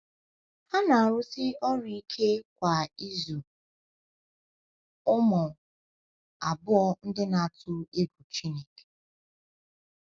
Ha na-arụsi ọrụ ike kwa ịzụ ụmụ abụọ ndị na-atụ egwu Chineke.